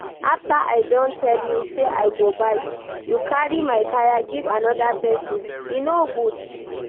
After I don tell you say I go buy, you carry my kaya give another person, e no good.